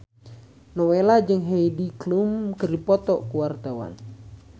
Nowela jeung Heidi Klum keur dipoto ku wartawan